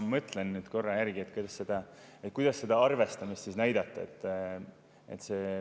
Ma mõtlen nüüd korra järgi, kuidas seda arvestamist näidata.